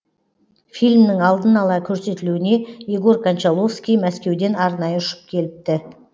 фильмнің алдын ала көрсетілуіне егор кончаловский мәскеуден арнайы ұшып келіпті